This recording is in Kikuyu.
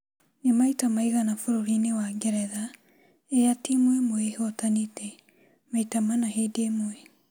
"Ni maita maigana bũrũrinĩ wa Ngeretha rĩrĩa timu ĩmwe ĩhotanite maita manna hĩndĩ ĩmwe